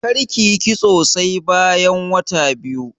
Karki yi kitso sai bayan wata biyu.